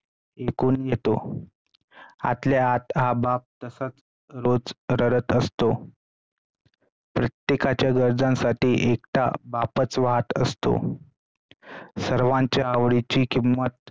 विकून येतो. आतल्या आत हा बाप सतत रोज रडत असतो. प्रत्येकांच्या गरजासाठी एकटा बापाचं वाहत असतो सर्वांच्या आवडीची किंमत